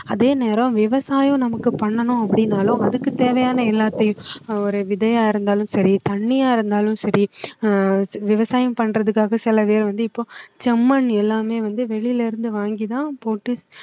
அதேநேரம் விவசாயம் நமக்கு பண்ணணும் அப்படின்னாலும் அதுக்கு தேவையான எல்லாத்தையும் அஹ் ஒரு விதையா இருந்தாலும் சரி தண்ணியா இருந்தாலும் சரி அஹ் விவசாயம் பண்றதுக்காக செலவே வந்து இப்போ செம்மண் எல்லாமே வந்து வெளில இருந்து வாங்கி தான் போட்டு